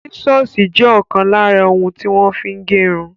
Sísọ̀sì jẹ ọkan lára ohun tí wọ́n fí ń gẹrun.